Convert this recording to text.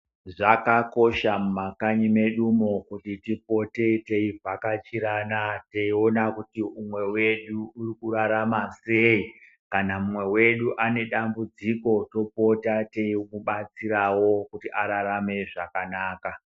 Zvakakosha mumakanyi medumo kuti tipote teivhakachirana teiona kuti umwe wedu uri kurarama sei. Kana mumwe wedu ane dambudziko topota teimubatsirawo kuti ararame zvakanaka.